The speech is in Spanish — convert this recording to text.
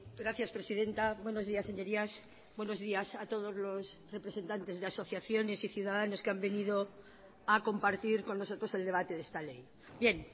gracias presidenta buenos días señorías buenos días a todos los representantes de asociaciones y ciudadanos que han venido a compartir con nosotros el debate de esta ley bien